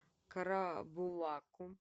карабулаку